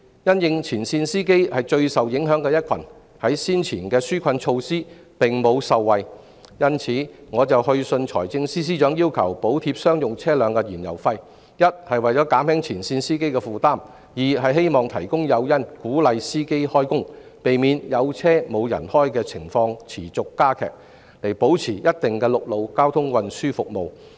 因應前線司機是最受影響的一群，而他們在先前的紓困措施中並無受惠，我就此去信財政司司長要求補貼商用車輛的燃油費，一方面為了減輕前線司機的負擔，另一方面亦希望提供誘因，鼓勵司機開工，避免"有車無人開"的情況持續加劇，以保持一定的陸路交通運輸服務。